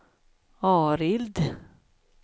Arild